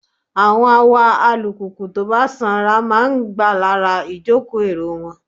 Àwọn awa alùpùpù tó bá sanra máa ń gbà lára ìjòkó èrò wọn.